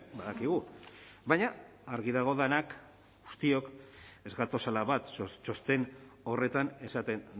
badakigu baina argi dago denak guztiok ez gatozela bat txosten horretan esaten